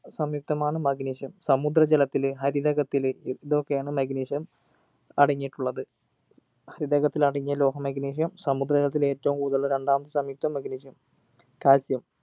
സംയുക്തമാണ് magnesium സമുദ്രജലത്തില് ഹരിതകത്തില് ഇതൊക്കെയാണ് magnesium അടങ്ങിയിട്ടുള്ളത് ഹരിതകത്തിൽ അടങ്ങിയ ലോഹ magnesium സമുദ്രജലത്തിൽ ഏറ്റവും കൂടുതൽ ഉള്ള രണ്ടാമത്തെ സംയുക്തം magnesiumcalcium